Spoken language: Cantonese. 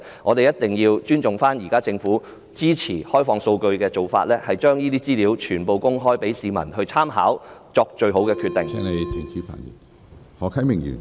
我們一定要尊重現時政府支援開放數據的做法，把資料全部公開讓市民參考，以便作最好的決定。